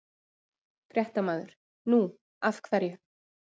Fréttamaður: Nú, af hverju?